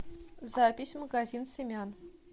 запись магазин семян